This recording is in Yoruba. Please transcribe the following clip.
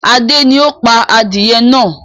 Adé ni ó pá adìyẹ náà.